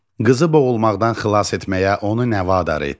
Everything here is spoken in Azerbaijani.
Qızı boğulmaqdan xilas etməyə onu nə vadar etdi?